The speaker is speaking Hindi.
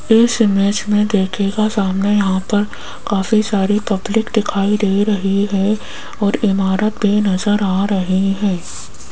इस इमेज में देखिएगा सामने यहां पर काफी सारी पब्लिक दिखाई दे रही है और इमारत भी नजर आ रही है।